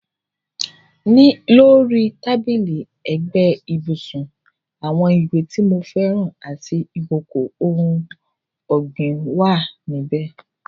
Ló rí tábìlì ẹ́gbẹ ibùsùn, àwon ìwé ti mo fẹ́ràn àti ìkòkò oun ọ́gbìn wa níbẹ̀